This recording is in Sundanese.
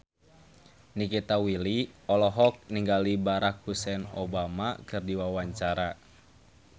Nikita Willy olohok ningali Barack Hussein Obama keur diwawancara